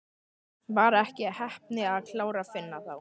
Var ekki heppni að klára Finna þá?